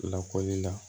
Lakɔli la